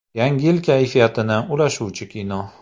Yangi yil kayfiyatini ulashuvchi kino.